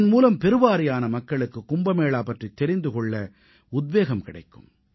இதன்மூலம் பெருவாரியான மக்களுக்குக் கும்பமேளா பற்றித் தெரிந்து கொள்ள உத்வேகம் கிடைக்கும்